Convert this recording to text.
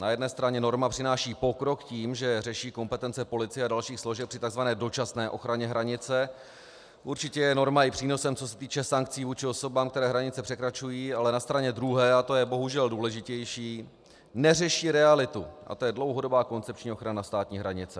Na jedné straně norma přináší pokrok tím, že řeší kompetence policie a dalších složek při tzv. dočasné ochraně hranice, určitě je norma i přínosem, co se týče sankcí vůči osobám, které hranice překračují, ale na straně druhé, a to je bohužel důležitější, neřeší realitu, a to je dlouhodobá koncepční ochrana státní hranice.